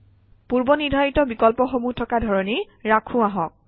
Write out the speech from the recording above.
পূৰ্বনিৰ্ধাৰিত বিকল্পসমূহ থকা ধৰণেই ৰাখোঁ আহক